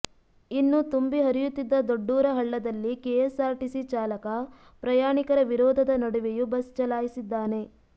ಇನ್ನು ತುಂಬಿ ಹರಿಯುತ್ತಿದ್ದ ದೊಡ್ಡೂರ ಹಳ್ಳದಲ್ಲಿ ಕೆಎಸ್ಆರ್ಟಿಸಿ ಚಾಲಕ ಪ್ರಯಾಣಿಕರ ವಿರೋಧದ ನಡುವೆಯೂ ಬಸ್ ಚಲಾಯಿಸಿದ್ದಾನೆ